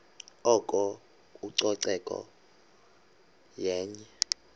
oko ucoceko yenye